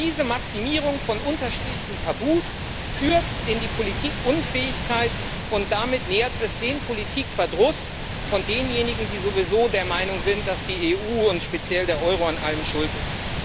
Diese Maximierung von unterschiedlichen Tabus führt in die Politikunfähigkeit, und damit nährt es den Politikverdruss derjenigen, die sowieso der Meinung sind, dass die EU und speziell der Euro an allem schuld ist.